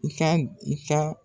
I ka i ka